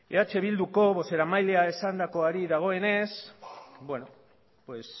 eh bilduko bozeramaileak esandakoari dagoenez bueno pues